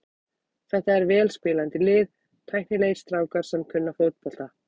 Þetta er vel spilandi lið, tæknilegir strákar sem kunna fótbolta.